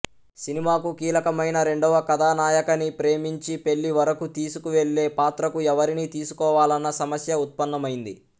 సినిమాకు కీలకమైన రెండవ కథానాయకని ప్రేమించి పెళ్ళి వరకూ తీసుకువెళ్ళే పాత్రకు ఎవరిని తీసుకోవాలన్న సమస్య ఉత్పన్నమైంది